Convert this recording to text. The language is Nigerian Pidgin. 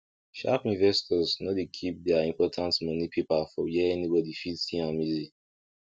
sharp investors no dey keep their important money paper for where anybody fit see am easy